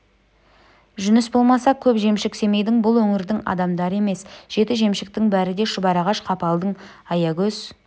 жүніс болмаса көп жемшік семейдің бұл өңірдің адамдары емес жеті жемшіктің бәрі де шұбарағаш қапалдың аягөз